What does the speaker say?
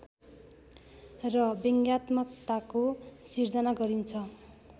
र व्यङ्ग्यात्मकताको सिर्जना गरिन्छ